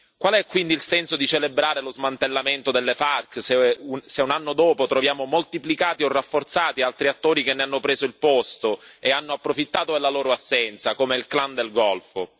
Qual è quindi il senso di celebrare lo smantellamento delle FARC se un anno dopo troviamo moltiplicati o rafforzati altri attori che ne hanno preso il posto e hanno approfittato della loro assenza, come il clan del Golfo?